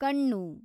ಕಣ್ಣು